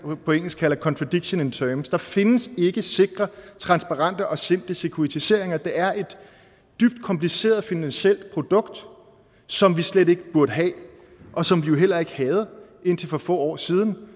på engelsk kalder contradiction in terms der findes ikke sikre transparente og simple securitiseringer for det er et dybt kompliceret finansielt produkt som vi slet ikke burde have og som vi jo heller ikke havde indtil for få år siden